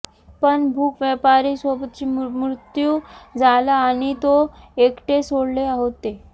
पण भूक व्यापारी सोबती मृत्यू झाला आणि तो एकटे सोडले होते